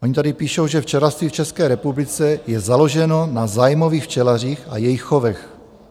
Oni tady píšou, že včelařství v České republice je založeno na zájmových včelařích a jejich chovech.